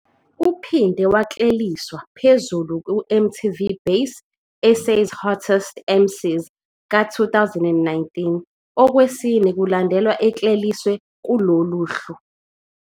Uphinde wakleliswa phezulu kuMTV Base- SA's Hottest MCs ka-2019, okwesine kulandelana ekleliswe kulolu hlu.